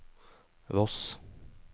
Voss